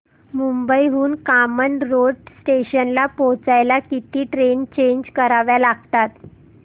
मुंबई हून कामन रोड स्टेशनला पोहचायला किती ट्रेन चेंज कराव्या लागतात